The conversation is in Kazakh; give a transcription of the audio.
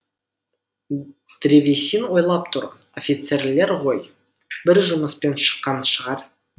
древесин ойлап тұрып офицерлер ғой бір жұмыспен шыққан шығар